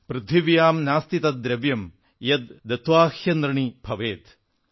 പൃഥിവ്യാം നാസ്തി തദ്ദ്രവ്യം യദ്ദത്ത്വാഹ്യനൃണീ ഭവേത്